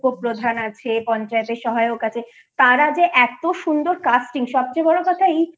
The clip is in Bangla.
উপপ্রধান আছে পঞ্চায়েতের সহায়ক আছে তারা যে এতো সুন্দর casting সবচেয়ে বড়ো কথা